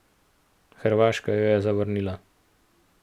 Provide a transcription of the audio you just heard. Hrvaška jo je zavrnila.